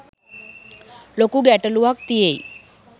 ලොකු ගැටලූවක් තියෙයි